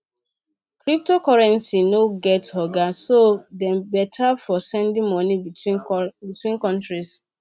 cryptocurrencies no get oga so dem better for sending moni between countries